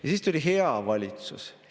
Ja siis tuli hea valitsus.